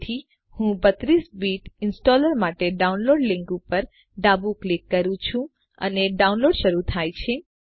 તેથી હું 32 bit installer માટેના ડાઉનલોડ લીંક પર ડાબું ક્લિક કરું છું અને ડાઉનલોડ શરૂ થાય છે